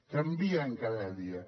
canvien cada dia